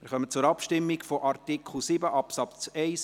Wir kommen zur Abstimmung über Artikel 7 Absatz 1